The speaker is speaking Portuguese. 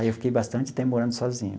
Aí eu fiquei bastante tempo morando sozinho.